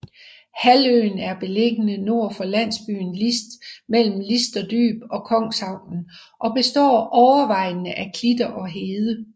Halvøen er beliggende nord for landsbyen List mellem Listerdyb og Kongshavnen og består overvejende af klitter og hede